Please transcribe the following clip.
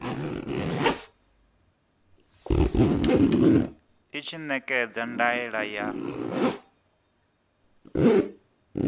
i tshi ṋekedza ndaela ya